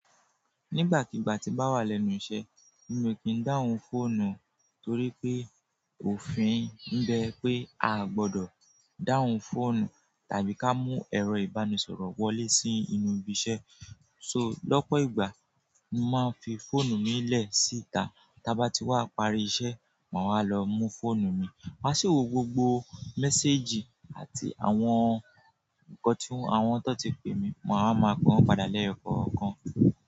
Nígbàkigbà tí bá wà lẹ́nu iṣẹ́, mi ò kí ń dáhùn fóònù torí pé òfin ń jẹ pé a gbọdọ̀ dáhùn fóònù tàbí ká mú ẹ̀rọ ìbánisọ̀rọ̀ wọlé sí inú ibi iṣẹ́. So lọ́pọ̀ ìgbà, mo máa ń fi fóònù mi lẹ̀ síta, tí a bá ti wá parí iṣẹ́, màá wa lọ mú fóònù mi. Màá sì wo gbogbo mẹ́séjì àti àwọn nǹkan tí àwọn tó ti pè mi, mo á máa pa wọ́n padà lẹ́ yo kọ̀kan.